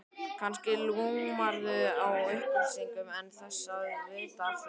Kannski lumarðu á upplýsingum án þess að vita af því.